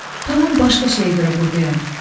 Tamam başqa şeyə görə burdayam.